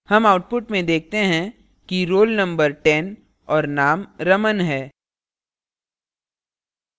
हम output में देखते हैं कि roll number ten और name raman है